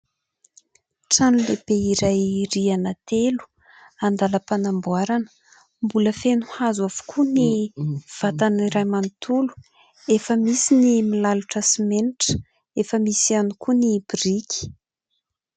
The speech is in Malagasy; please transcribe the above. Trano lehibe iray rihana telo andàlam-panamboarana, mbola feno hazo avokoa ny vatany iray manontolo, efa misy ny milalotra simenitra, efa misy ihany koa ny biriky.